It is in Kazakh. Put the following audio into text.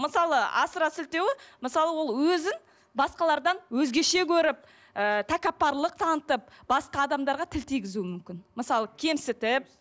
мысалы асыра сілтеуі мысалы ол өзін басқалардан өзгеше көріп ыыы тәкаппарлық танытып басқа адамдарға тіл тигізуі мүмкін мысалы кемсітіп